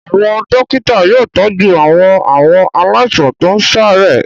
Àwọn dọ́kítá yóò tọ́jú àwọn àwọn aláìsàn tó ń ṣàárẹ̀.